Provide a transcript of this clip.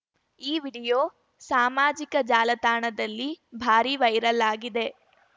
ಈ ವಿಡಿಯೋ ಸಮಾಮಾಜಿಕ ಜಾಲತಾಣದಲ್ಲಿ ಭಾರೀ ವೈರಲ್‌ ಆಗಿದೆ